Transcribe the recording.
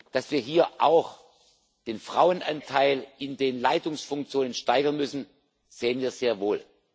Dass wir hier auch den Frauenanteil in den Leitungsfunktionen steigern müssen, sehen wir sehr wohl.